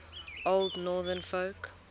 old northern folk